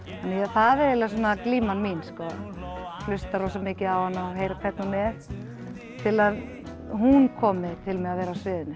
það er glíman mín hlusta rosamikið á hana heyra hvernig hún er til að hún komi til með að vera á sviðinu